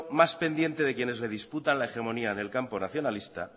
más pendiente de quienes le disputan la hegemonía del campo nacionalista